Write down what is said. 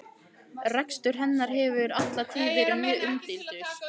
Rekstur hennar hefur alla tíð verið mjög umdeildur.